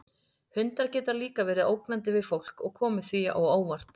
Hundar geta líka verið ógnandi við fólk og komið því á óvart.